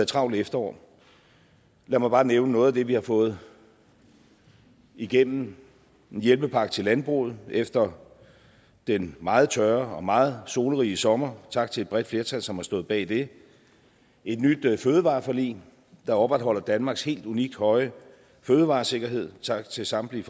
travlt efterår lad mig bare nævne noget af det vi har fået igennem en hjælpepakke til landbruget efter den meget tørre og meget solrige sommer tak til et bredt flertal som har stået bag det et nyt fødevareforlig der opretholder danmarks helt unikt høje fødevaresikkerhed tak til samtlige